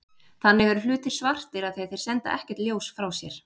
Þannig eru hlutir svartir af því að þeir senda ekkert ljós frá sér.